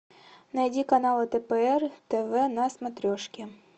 найди канал тпр тв на смотрешке